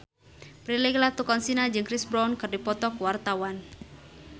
Prilly Latuconsina jeung Chris Brown keur dipoto ku wartawan